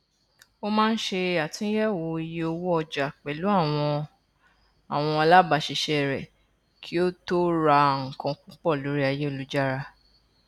ó máa ń ṣe atúnyẹwò iye owó ọjà pẹlú àwọn àwọn alábáṣiṣẹ rẹ kí ó tó rà nǹkan púpọ lórí ayélujára